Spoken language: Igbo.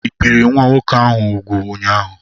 Ị bìri nwa nwoke úgwù ụnyaahụ?